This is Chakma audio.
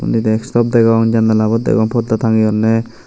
undi desktop degong janalabo degong porda tangeyunney.